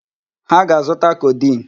Ha ga-azụta codeine.